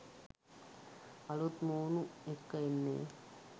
අලුත් මූණු එක්ක එන්නේ